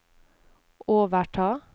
overta